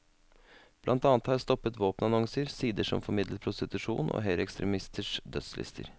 Blant annet har jeg stoppet våpenannonser, sider som formidlet prostitusjon og høyreekstremisters dødslister.